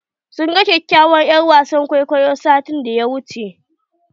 Sun gan kyakyawar er'wasan kwaikwayon satin da ya wuche.